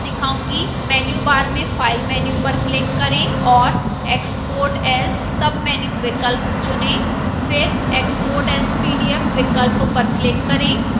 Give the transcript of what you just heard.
menu bar में file menu पर click करें और export as submenu विकल्प चुनें फिर export as pdf विकल्प पर click करें